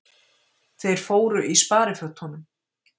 Þeir fóru í sparifötunum.